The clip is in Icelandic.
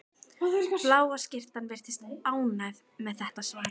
Bláa skyrtan virðist ánægð með þetta svar.